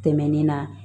Tɛmɛnen na